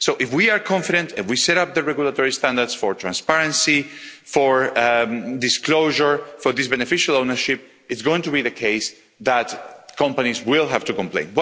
So if we are confident and we set out the regulatory standards for transparency, for disclosure, for this beneficial ownership, it is going to be the case that companies will have to comply.